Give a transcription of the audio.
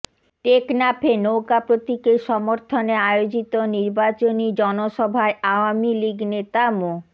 টেকনাফে নৌকা প্রতীকের সমর্থনে আয়োজিত নির্বাচনী জনসভায় আওয়ামী লীগ নেতা মো